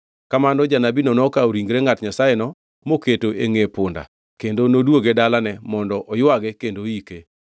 Kamano janabino nokawo ringre ngʼat Nyasayeno mokete e ngʼe punda kendo nodwoge e dalane mondo oywage kendo oike.